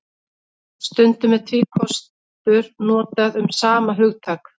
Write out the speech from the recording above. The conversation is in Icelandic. Stundum er tvíkostur notað um sama hugtak.